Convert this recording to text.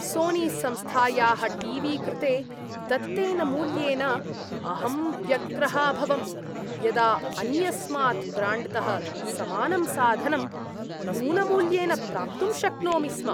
सोनीसंस्थायाः T V कृते दत्तेन मूल्येन अहं व्यग्रः अभवम्, यदा अन्यस्मात् ब्राण्ड्तः समानं साधनं न्यूनमूल्येन प्राप्तुं शक्नोमि स्म।